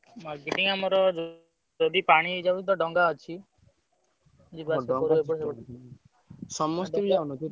Marketing ଆମେ ଯଦି ପାଣି ହେଇଯାଉଛି ତ ଡଙ୍ଗା ଅଛି। ଯିବା ଆସିବା ।